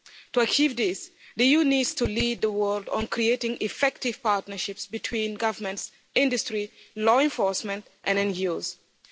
To achieve this, the EU needs to lead the world on creating effective partnerships between governments, industry, law enforcement and NGOs.